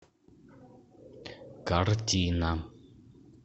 картина